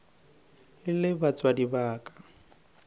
e le batswadi ba ka